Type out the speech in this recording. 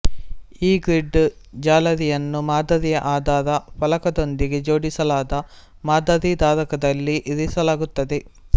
ಈ ಗ್ರಿಡ್ ಜಾಲರಿಯನ್ನು ಮಾದರಿಯ ಆಧಾರ ಫಲಕದೊಂದಿಗೆ ಜೋಡಿಸಲಾದ ಮಾದರಿಧಾರಕದಲ್ಲಿ ಇರಿಸಲಾಗುತ್ತದೆ